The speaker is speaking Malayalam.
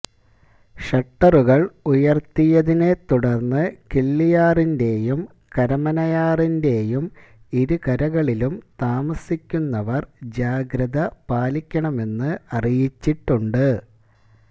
ഷട്ടറുകള് ഉയര്ത്തിയതിനെ തുടര്ന്ന് കിള്ളിയാറിന്റെയും കരമനയാറിന്റെയും ഇരുകരകളിലും താമസിക്കുന്നവര് ജാഗ്രത പാലിക്കണമെന്ന് അറിയിച്ചിട്ടുണ്ട്